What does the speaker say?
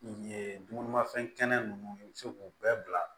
Ye dumunimafɛn kɛnɛ nunnu i bɛ se k'u bɛɛ bila